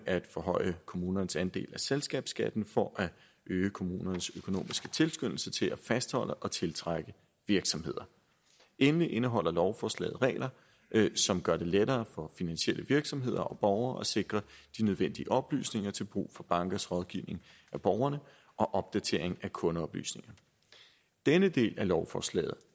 at forhøje kommunernes andel af selskabsskatten for at øge kommunernes økonomiske tilskyndelse til at fastholde og tiltrække virksomheder endelig indeholder lovforslaget regler som gør det lettere for finansielle virksomheder og borgere at sikre de nødvendige oplysninger til brug for bankers rådgivning af borgerne og opdateringer af kundeoplysninger denne del af lovforslaget